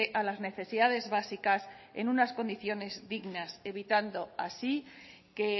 a las necesidades básicas en unas condiciones dignas evitando así que